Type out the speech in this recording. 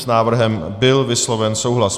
S návrhem byl vysloven souhlas.